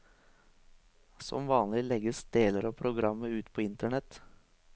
Som vanlig legges deler av programmet ut på internett.